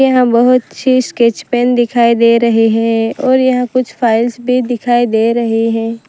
यहां बहुत अच्छे स्केच पेन दिखाई दे रहे हैं और यहां कुछ फाइल्स भी दिखाई दे रहे हैं।